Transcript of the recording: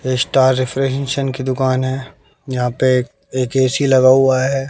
ये star refrigeration की दुकान है यहां पे एक ए_सी लगा हुआ है।